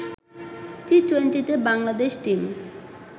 টি-টোয়েন্টিতে Bangladesh team